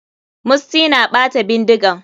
Musty na ɓata bindigan.